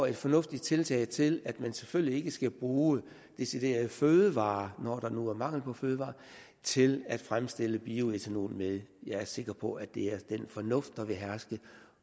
er fornuftige tiltag til at man selvfølgelig ikke skal bruge deciderede fødevarer når der nu er mangel på fødevarer til at fremstille bioætanol med jeg er sikker på at det er den fornuft der vil herske